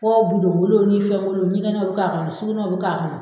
Fɔ budon kolon ni fɛn kolon, ɲɛgɛnɛw bɛ k'a kɔnɔ sugunew bɛ k'a kɔnɔ.